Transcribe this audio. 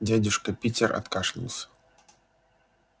дядюшка питер откашлялся